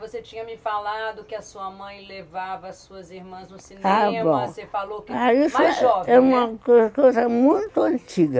Você tinha me falado que a sua mãe levava as suas irmãs no cinema, você falou que... Ah, isso é uma coisa muito antiga.